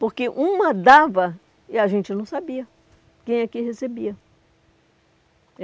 Porque uma dava e a gente não sabia quem é que recebia.